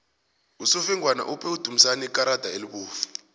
usofengwana uphe udumisani ikarada elibovu